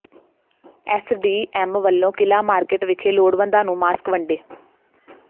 SDM ਵੱਲੋਂ Qila market ਵਿਖੇ ਲੋੜਵੰਦਾਂ ਨੂੰ ਮਾਸਕ ਵੰਡੇ